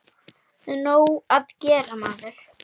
Nóg að gera, maður.